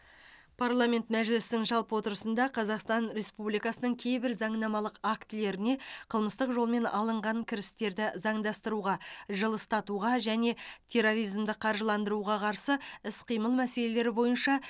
парламент мәжілісінің жалпы отырысында қазақстан республикасының кейбір заңнамалық актілеріне қылмыстық жолмен алынған кірістерді заңдастыруға жылыстатуға және терроризмді қаржыландыруға қарсы іс қимыл мәселелері бойынша